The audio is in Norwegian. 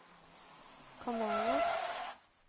kanaler